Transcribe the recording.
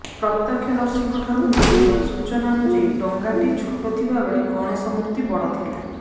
ପ୍ରତ୍ୟକ୍ଷଦର୍ଶୀଙ୍କଠାରୁ ମିଳିଥିବା ସୂଚନାଅନୁଯାୟୀ ଡଙ୍ଗାଟି ଛୋଟ ଥିବାବେଳେ ଗଣେଶ ମୂର୍ତ୍ତି ବଡ଼ ଥିଲା